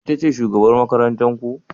Ita ce shugabar makarantar ku?